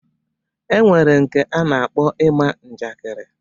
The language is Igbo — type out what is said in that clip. E nwere nke a na-akpọ ima njakịrị.